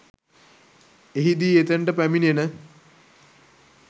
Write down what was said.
එහිදී එතනට පැමිණෙන